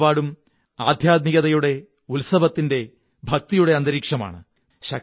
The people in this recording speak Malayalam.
നാലുപാടും ആദ്ധ്യാത്മികതയുടെ ഉത്സവത്തിന്റെ ഭക്തിയുടെ അന്തരീക്ഷമാണ്